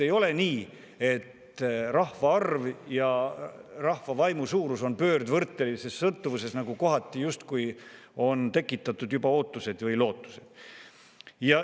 Ei ole nii, et rahvaarv ja rahva vaimu suurus on pöördvõrdelises sõltuvuses, nagu kohati justkui on juba tekitatud ootused ja lootused.